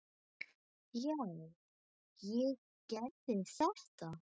Já, ég gerði þetta!